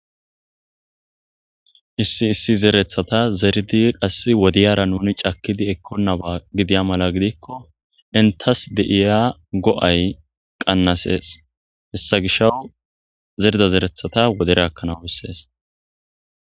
Issi issi zeerethata zeridi qass wodiyara nuni cakidi ekkonnaba gidiya mala gidikko intas deiya go7ay qannasees hessa gisha zerda zerethata wodereakkanaw bessees.